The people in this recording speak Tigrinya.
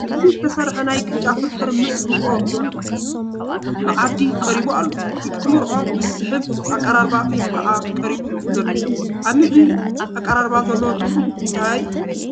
ብስልሲ ዝተሰርሐ ናይ ቅጫ ፍርፍር ምስ ርጉኦ መዓዲ ቀሪቡ ኣሎ፡፡ ንክትበልዖ ብዝስሕብ ኣቀራርባ እዩ ከዓ ቀሪቡ ዘሎ፡፡ ኣብ ምግቢ ኣቀራርባ ዘለዎ ትርጉም እንታይ እዩ?